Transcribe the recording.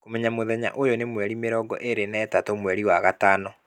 Kũmenya mũthenya ũyũ nĩ mweri mĩrongo ĩĩrĩ na ĩtatũ mweri wa gatano